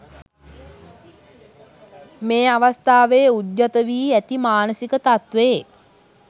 මේ අවස්ථාවෙ උද්ගත වී ඇති මානසික තත්වයේ